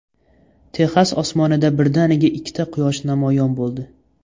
Texas osmonida birdaniga ikkita Quyosh namoyon bo‘ldi .